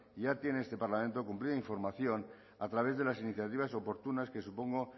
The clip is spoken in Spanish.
ya tiene este parlamento cumplida información a través de las iniciativas oportunas que supongo